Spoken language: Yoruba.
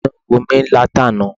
Inú ń run mí látàná.